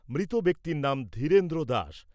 মৃত ব্যক্তির নাম ধীরেন্দ্র দাস।